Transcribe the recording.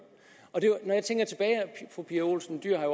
fru pia olsen dyhr har